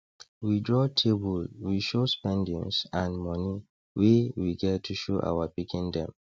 we draw table we show spendings and money wey we get to show our pikin dem